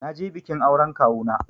Na je bikin auren Kawuna